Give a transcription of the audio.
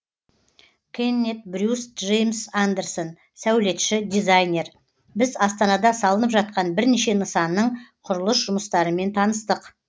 кеннэт брюс джеймс андерсон сәулетші дизайнер біз астанада салынып жатқан бірнеше нысанның құрылыс жұмыстарымен таныстық